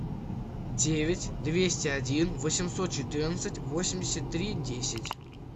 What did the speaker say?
девять двести один восемьсот четырнадцать восемьдесят три десять